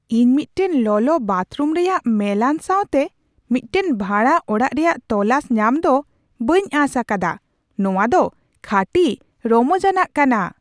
ᱤᱧ ᱢᱤᱫᱴᱟᱝ ᱞᱚᱞᱚ ᱵᱟᱛᱷᱨᱩᱢ ᱨᱮᱭᱟᱜ ᱢᱮᱞᱟᱱ ᱥᱟᱶᱛᱮ ᱢᱤᱫᱴᱟᱝ ᱵᱷᱟᱲᱟ ᱚᱲᱟᱜ ᱨᱮᱭᱟᱜ ᱛᱚᱞᱟᱥ ᱧᱟᱢ ᱫᱚ ᱵᱟᱹᱧ ᱟᱸᱥ ᱟᱠᱟᱫᱟᱼᱱᱚᱶᱟ ᱫᱚ ᱠᱷᱟᱹᱴᱤ ᱨᱚᱢᱚᱡᱟᱱᱟᱜ ᱠᱟᱱᱟ !